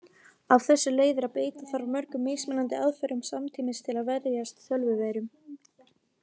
Af þessu leiðir að beita þarf mörgum mismunandi aðferðum samtímis til að verjast tölvuveirum.